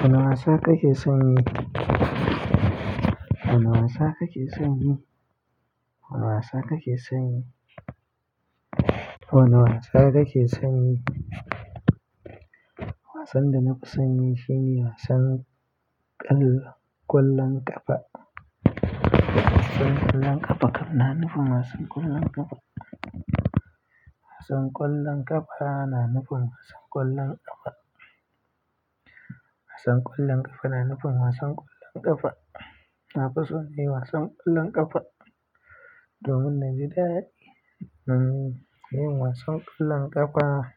Wane wasa kake son yi? Wane wasa kake son yi? Wane wasa kake son yi? Wane wasa kake son yi? Wasan da na fi son yi shine wasan ƙwallon ƙafa. Wasan ƙwallon ƙafa, kam na nufin wasan ƙwallon ƙafa. Wasan ƙwallon ƙafa, na nufin wasan ƙwallon ƙafa. Wasan ƙwallon ƙafa, na nufin wasan ƙwallon ƙafa. Na fi so nayi wasan ƙwallon ƙafa domin na ji daɗi yin wasan ƙwallon ƙafa.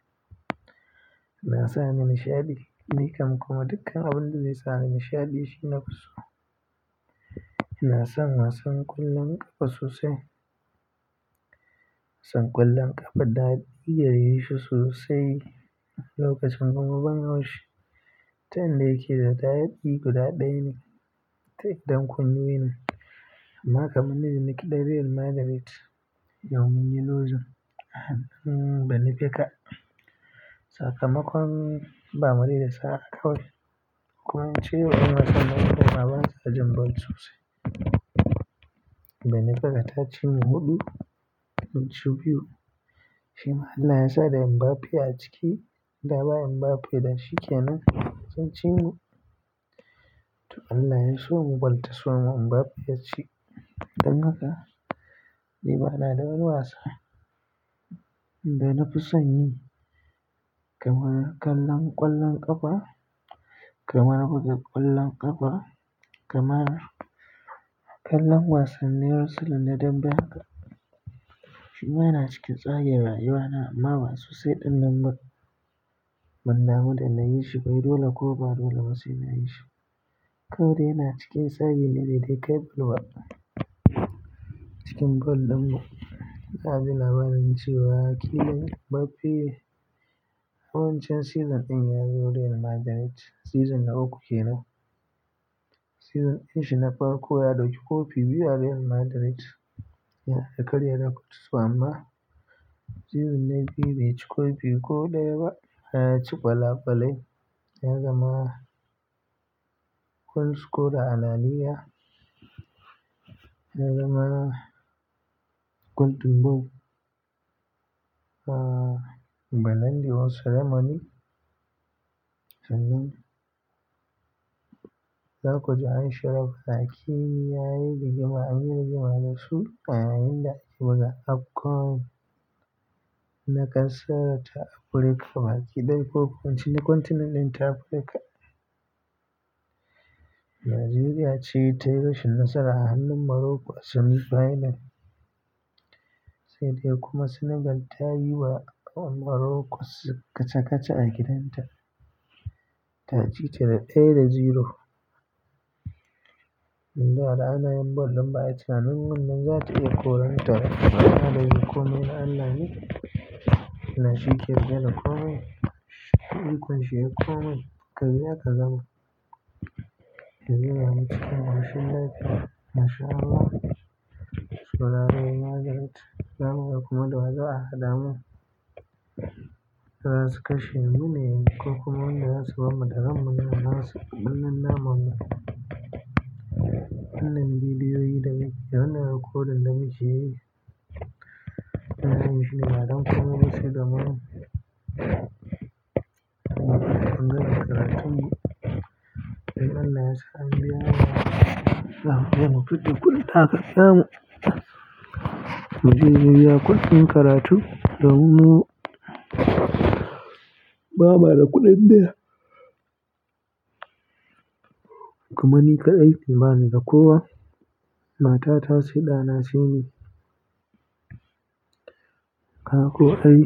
Na sa ni nishaɗi dayake ni kuma dukan abuda zai sani nishaɗi shi na fi so na san wasan ƙwallon ƙafa sosai. Wasan ƙwallon ƙafa, daɗi gare shi sosai wani lokacin kuma ban haushi. Ta inda yake da daɗi guda ɗaya ne take don kun wei na. Amma kamanni da nake ɗan Real Madrid yau munyi luzin a hanun banifeka. Sakamakon ba mu riƙe saa bba kawai yawanci yaa wasan namu da ba za su jin ball sosai. Banifeka ta ci mu huɗu mun ci biyu. Shima Allah yasa da Mbappe a ciki da ba Mbappe da shi kenan sun ci mu. To Allah ya so mu bal ta so mu Mbappe ya ci. Don haka ni bana da wani wasa da na fi son yi kamar kallon ƙwallon ƙafa, kamar buga ƙwallon ƙafa, kamar kallan wasannin wrestling na dambe haka. Shima yana cikin tsagin rayuwa na amma ba sosai ɗin nan ba ban damu da na yi shi ba dole ko ba dole ba sai na yi shi. Kawai dai yana cikin tsagin ne bai ka bal full ba a cikin ball ɗin mu. Kana jin labarin cewa Kylian Mbappe wancan season ɗin ya zo Real Madrid. Season na uku kenan. Season ɗin shi na farko ya ɗauki kofi biyu a Real Madrid. Ya karya tarihi to amma season na biyu bai ci kofi ko ɗaya ba. Ya ci ƙwalakwalai ya zama goal scorer a laliga. Ya zama golden boot. A balandi award ceremony, sannan za ku ji an shara. Kylian ya yi rigima a anyi rigima dasha a yayinda ake buga AFCON na ƙasar ta Afrika. Baki dai ko kwancin na kwantenanin ta Afrika. Najeriya ce ta yi rashin nasara a hannun Morocco a semi final. Sai dai kuma Senegal ta yi wa Morocco kaca-kaca a gidanta. Ta cita da ɗaya da zero. Inda da ana yin ball din ba a yi tunanin wannan zata iya korarta ba amman dayake komai na Allah ne Allah shi ke gane komai. Yayi ikonshi yayi komai ka biya kaga ball. Najeriya mu cikin rashin daɗi. Rashin amo. Saura rayu na darai. Na kuma da waza a hadamu. Za su kashe mu ne ko kuma wanda za su bamu daren mu na nasu. Ɗin nan mamman ɗin bidiyoyi da ɗan nan rikodin da mukeyi. Ina so mu ji daɗin komai da sai da mu. Mu gama karatun mu. Idan Allah ya sa an biya mu. Mu fita kullum takardar mu. Mu je mu biya kuɗin karatu domin mu bamuda kuɗin data kuma ni kaɗai banida ko wa mata ta sai ɗana sai ni. Gaka ko ai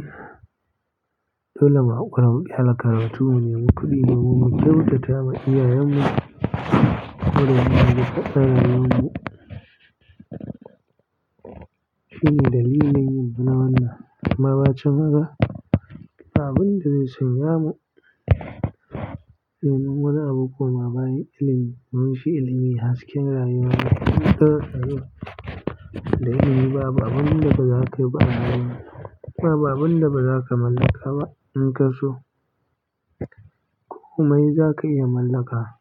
dole mu hakura mu kyale karatun mu ne mi kuɗi domin mubkyautata ma iyayen mu. Dole mu yi ta tsare rayuwarmu. Shi ne dalilin yin mana wannan. Baba can haka ba abinda zai sanya mu renon wani abu kuma bayan limi. Domin shi ilimi hasken rayuwa. In ka zo da ilimi ba abu da ba za ka yi ba a rayuwa. Baba abin da ba za ka mallaka ba in ka so kome za ka iya mallaka.